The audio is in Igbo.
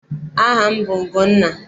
Aha m bụ Ugonna.